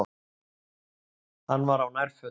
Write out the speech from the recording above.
Hann var á nærfötunum.